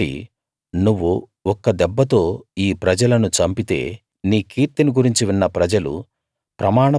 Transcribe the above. కాబట్టి నువ్వు ఒక్క దెబ్బతో ఈ ప్రజలను చంపితే నీ కీర్తిని గురించి విన్న ప్రజలు